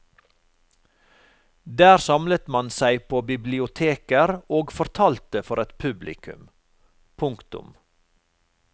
Der samlet man seg på bibiloteker og fortalte for et publikum. punktum